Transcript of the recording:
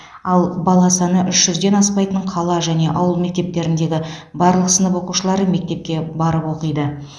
ал бала саны үш жүзден аспайтын қала және ауыл мектептеріндегі барлық сынып оқушылары мектепке барып оқиды